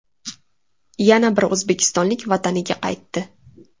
Yana bir o‘zbekistonlik vataniga qaytdi.